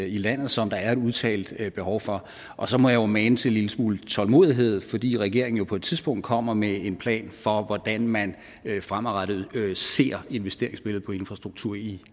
i landet som der er et udtalt behov for og så må jeg mane til en lille smule tålmodighed fordi regeringen jo på et tidspunkt kommer med en plan for hvordan man fremadrettet ser på investeringsbilledet for infrastruktur i